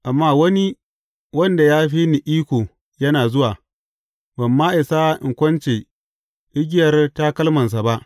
Amma wani wanda ya fi ni iko yana zuwa, ban ma isa in kunce igiyar takalmansa ba.